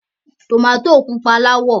Tòmátì pupa láwọ̀.